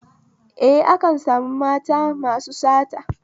Eh, akan sami mata masu sata